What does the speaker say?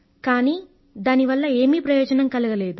కానీ దానివల్ల ఏమీ ప్రయోజనం కలగలేదు